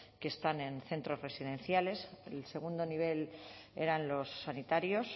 que están en centros residenciales el segundo nivel eran los sanitarios